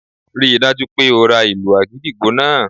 Rí i dájú o pé o ra ìlù àgídìgbo náà!